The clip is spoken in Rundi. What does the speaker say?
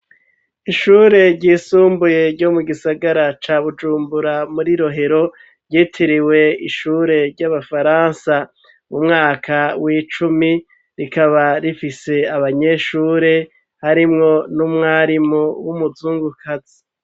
Ishure ry' isumbuye ryo mu gisagara ca bujumbura muri rohero ryitiriwe ishure ry'abafaransa mu mwaka w'icumi rikaba rifise abanyeshure harimwo n'umwarimu w'umuzungukazi.